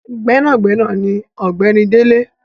Gbẹnagbẹna ni ọ̀gbẹ́ni Dele.